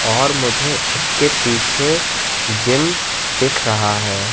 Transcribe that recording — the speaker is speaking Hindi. और मुझे उसके पीछे जिम दिख रहा है।